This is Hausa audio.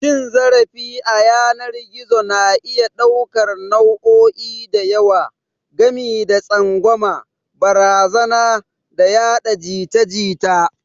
Cin zarafi a yanar gizo na iya ɗaukar nau'o'i da yawa, gami da tsangwama, barazana, da yada jita-jita